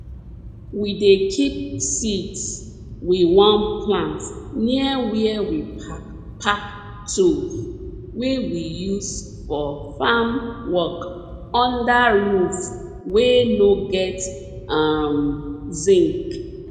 we dey keep seeds we wan plant near where we pack pack tools wey we use for farm work under roof wey no get um zinc